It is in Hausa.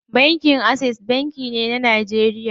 Bankin Access banki ne a Najeriya.